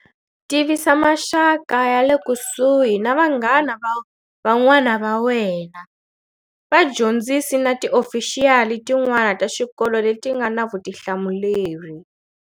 Tivisa maxaka ya le kusuhi na vanghana van'wana wa wena, vadyondzisi na tiofixiyali tin'wana ta xikolo leti nga na vutihlamuleri.